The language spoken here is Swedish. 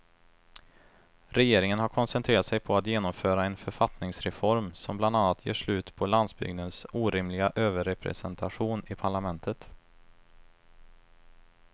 Regeringen har koncentrerat sig på att genomföra en författningsreform som bland annat gör slut på landsbygdens orimliga överrepresentation i parlamentet.